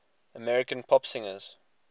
american pop singers